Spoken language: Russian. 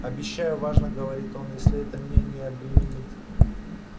обещаю важно говорит он если это меня не обеременит